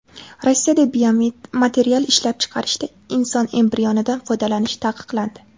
Rossiyada biomaterial ishlab chiqarishda inson embrionidan foydalanish taqiqlandi.